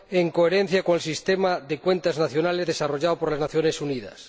en coherencia con el Sistema de Cuentas Nacionales desarrollado por las Naciones Unidas.